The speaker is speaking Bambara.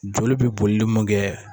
Joli bɛ bolili mun kɛ.